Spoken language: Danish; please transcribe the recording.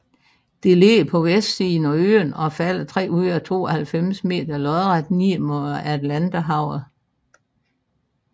Det ligger på vestsiden af øen og falder 392 meter lodret ned mod Atlanterhavet